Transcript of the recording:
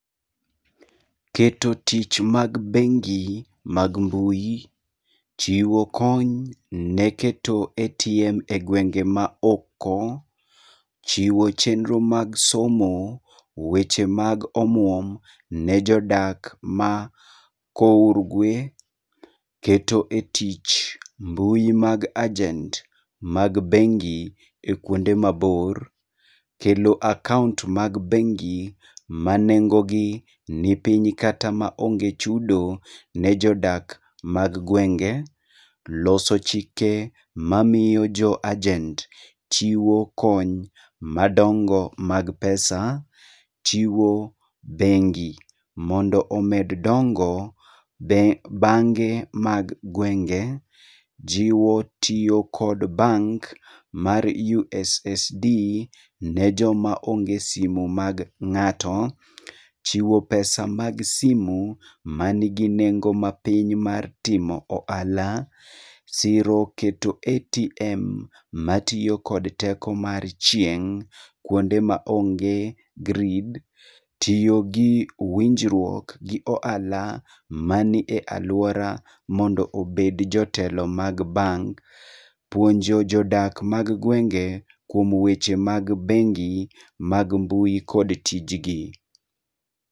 Keto tich mag bengi mag mbui, chiwo kony ne keto ATM e gwenge maoko, chiwo chenro mag somo, weche mag omwom ne jodak ma kourgwe, keto e tich mbui mag agent mag bengi e kuonde mabor, kelo akaont mag bengi ma nengo gi ni piny kata maonge chudo ne jodak mag gwenge, loso chike mamio jo agent chiwo kony madongo mag pesa, chiwo bengi mondo omed dongo be bange mag gwenge, jiwo tio kod bank mar USSD ne joma onge simu mag ng'ato, chiwo pesa mag simu manigi nengo mapiny mar timo oala, siro keto ATM matio kod teko mar chieng' kwonde ma onge grid, tio gi winjrwuok gi oala manie alwora mondo obed jotelo mag bank, puonjo jodak mag gwenge kwom weche mag bengi mag mbui kod tijgi.